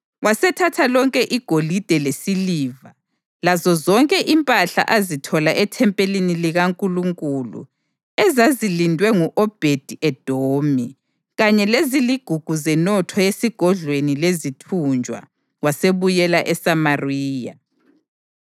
Wasethatha lonke igolide lesiliva lazozonke impahla azithola ethempelini likaNkulunkulu ezazilindwe ngu-Obhedi-Edomi, kanye leziligugu zenotho yesigodlweni lezithunjwa, wasebuyela eSamariya.